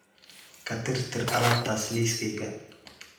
ka tirtir alaabtaas liiskayga